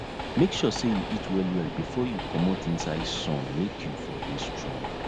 make sure say you eat well well befor you comot inside hot sun make u for dey strong